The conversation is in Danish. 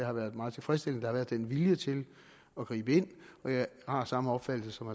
har været meget tilfredsstillende har været den vilje til at gribe ind jeg har samme opfattelse som